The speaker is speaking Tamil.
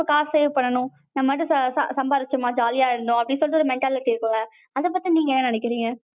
காசு இது பண்ணனும். நம்ம பாட்டு சம்பாரிச்சமா jolly இருந்தம்மா அப்படின்ற ஒரு mentality இருக்குல. அத பத்தி நீங்க என்ன நெனைக்ரிங்க?